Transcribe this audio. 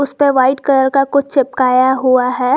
उसपे white colour का कुछ चिपकाया हुआ है।